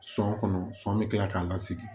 Sɔn kɔnɔ sɔn bɛ kila k'a lasigi